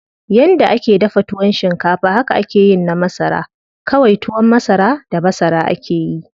Yanda ake dafa tuwon shinkafa haka akeyin na masara, kawai tuwon masara da masara akeyi.